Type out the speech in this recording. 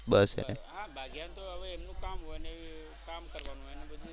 હા ભાગ્યા ને તો હવે એમનું કામ હોય ને કામ કરવાનું હોય ને બધુ.